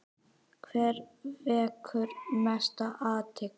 Hver vekur mesta athygli?